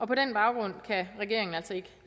på den baggrund kan regeringen altså ikke